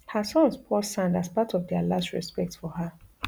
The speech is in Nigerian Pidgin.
her sons pour sand as part of dia last respect for her